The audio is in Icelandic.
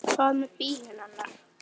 Hvað með bílinn hennar?